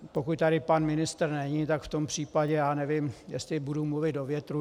Pokud tady pan ministr není, tak v tom případě, já nevím, jestli budu mluvit do větru...